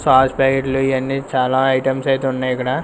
sauce ప్యాకెట్లు ఇయన్ని చాలా ఐటమ్స్ అయితే ఉన్నయికడ--